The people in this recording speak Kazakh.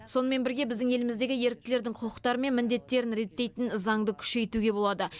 сонымен бірге біздің еліміздегі еріктілердің құқықтары мен міндеттерін реттейтін заңды күшейтуге болады